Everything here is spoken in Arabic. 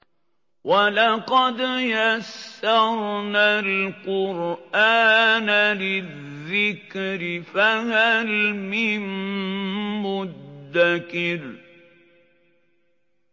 وَلَقَدْ يَسَّرْنَا الْقُرْآنَ لِلذِّكْرِ فَهَلْ مِن مُّدَّكِرٍ